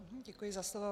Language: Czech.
Děkuji za slovo.